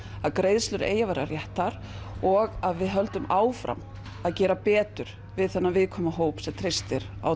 að greiðslur eigi að vera réttar og við höldum áfram að gera betur við þennan viðkvæma hóp sem treystir á